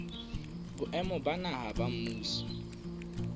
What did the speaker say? boemong ba naha ba mmuso